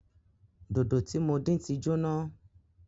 Dòdò tí mo dín tí jóná